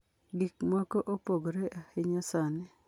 Gik moko opogore ahinya sani.